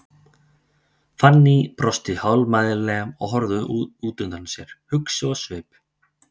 Fanný brosti hálfmæðulega og horfði út undan sér, hugsi á svip.